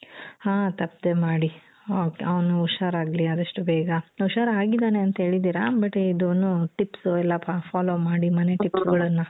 ಹ ತಪ್ಪದೇ ಮಾಡಿ okay ಅವ್ನು ಹುಷಾರಾಗ್ಲಿ ಆದಷ್ಟೂ ಬೇಗ ಹುಷಾರಾಗಿದಾನೆ ಅಂತ ಹೇಳಿದೀರಾ but ಇದೂನು tips ಎಲ್ಲ follow ಮಾಡಿ ಮನೆ tips ಗಳನ್ನ .